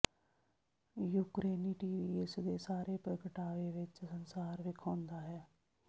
ਯੂਕਰੇਨੀ TV ਇਸ ਦੇ ਸਾਰੇ ਪ੍ਰਗਟਾਵੇ ਵਿੱਚ ਸੰਸਾਰ ਵੇਖਾਉਦਾ ਹੈ